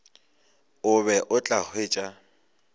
o be o tla hwetša